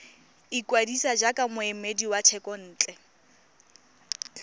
ikwadisa jaaka moemedi wa thekontle